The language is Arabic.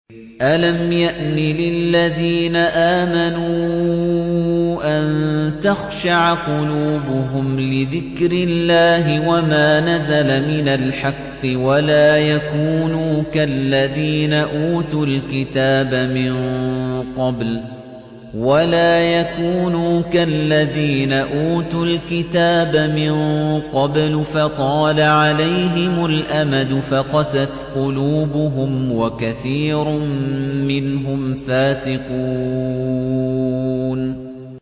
۞ أَلَمْ يَأْنِ لِلَّذِينَ آمَنُوا أَن تَخْشَعَ قُلُوبُهُمْ لِذِكْرِ اللَّهِ وَمَا نَزَلَ مِنَ الْحَقِّ وَلَا يَكُونُوا كَالَّذِينَ أُوتُوا الْكِتَابَ مِن قَبْلُ فَطَالَ عَلَيْهِمُ الْأَمَدُ فَقَسَتْ قُلُوبُهُمْ ۖ وَكَثِيرٌ مِّنْهُمْ فَاسِقُونَ